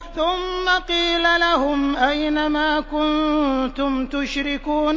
ثُمَّ قِيلَ لَهُمْ أَيْنَ مَا كُنتُمْ تُشْرِكُونَ